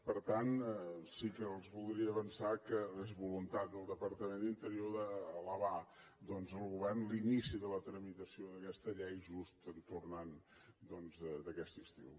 per tant sí que els voldria avançar que és voluntat del departament d’interior d’elevar doncs al govern l’inici de la tramitació d’aquesta llei just en tornant d’aquest estiu